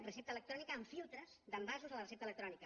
recepta electrònica amb filtres d’envasos a la recepta electrònica